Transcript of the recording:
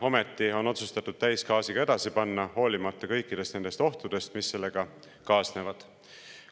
Ometi on otsustatud täisgaasiga edasi panna, hoolimata kõikidest nendest ohtudest, mis sellega kaasnevad.